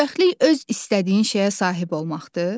Xoşbəxtlik öz istədiyin şeyə sahib olmaqdır?